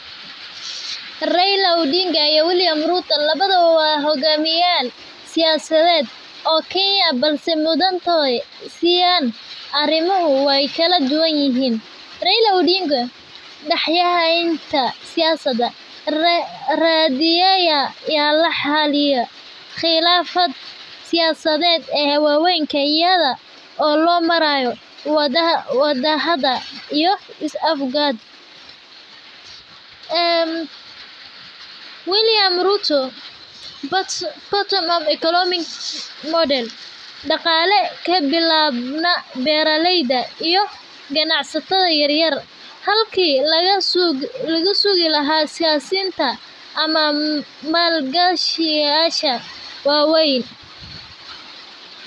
Raila Odinga iyo Wiliam Ruto lawadaba wa hogamiya sioyasaded oo Kenya, balse mudantahay siyan arimaha way kaladuwanyihin. Raila Odinga daxdaxenta siyasada oo xaliya qilafad siyasaded eh waweynka iyado lomarayo wadadahadl iyo is afgarad. Een Wiliam Ruto bottom of economic model daqale kabilabma beraleyda iyo ganacsatada yaryar halki lagasugi lahaa siyasinta ama malgashayasha waweyn.